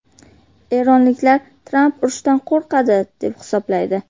Eronliklar Tramp urushdan qo‘rqadi, deb hisoblaydi.